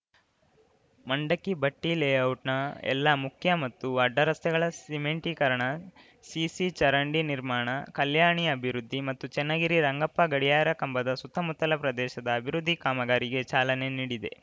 ಮಂಡಕ್ಕಿ ಭಟ್ಟಿಲೇಔಟ್‌ನ ಎಲ್ಲಾ ಮುಖ್ಯ ಮತ್ತು ಅಡ್ಡ ರಸ್ತೆಗಳ ಸಿಮೆಂಟೀಕರಣ ಸಿಸಿ ಚರಂಡಿ ನಿರ್ಮಾಣ ಕಲ್ಯಾಣಿ ಅಭಿವೃದ್ಧಿ ಮತ್ತು ಚನ್ನಗಿರಿ ರಂಗಪ್ಪ ಗಡಿಯಾರ ಕಂಬದ ಸುತ್ತಮುತ್ತಲ ಪ್ರದೇಶದ ಅಭಿವೃದ್ಧಿ ಕಾಮಗಾರಿಗೆ ಚಾಲನೆ ನೀಡಿದೆ